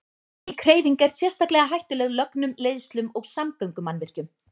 Slík hreyfing er sérstaklega hættuleg lögnum, leiðslum og samgöngumannvirkjum.